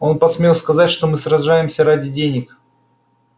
он посмел сказать что мы сражаемся ради денег